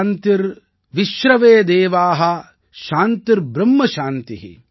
சாந்திர்விச்ரவே தேவா சாந்திர்ப்ரும்ம சாந்தி